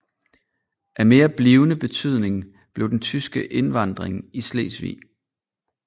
Af mere blivende betydning blev den tyske indvandring i Slesvig